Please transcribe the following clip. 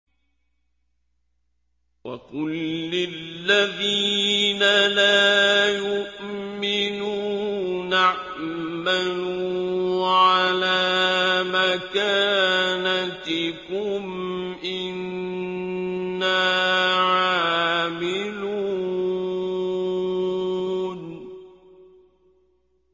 وَقُل لِّلَّذِينَ لَا يُؤْمِنُونَ اعْمَلُوا عَلَىٰ مَكَانَتِكُمْ إِنَّا عَامِلُونَ